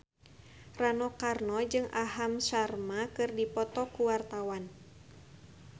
Rano Karno jeung Aham Sharma keur dipoto ku wartawan